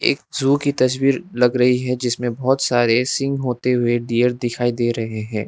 एक जू की तस्वीर लग रही है जिसमें बहोत सारे सिंह होते हुए डियर दिखाई दे रहे हैं।